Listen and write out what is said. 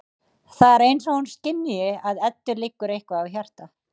Það er eins og hún skynji að Eddu liggur eitthvað á hjarta.